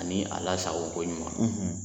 Ani a lasago ko ɲuman.